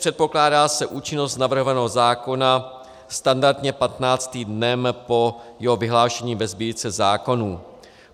Předpokládá se účinnost navrhovaného zákona standardně 15. dnem po jeho vyhlášení ve Sbírce zákonů.